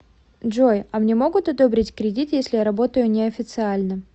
джой а мне могут одобрить кредит если я работаю не официально